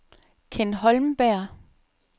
Ken Holmberg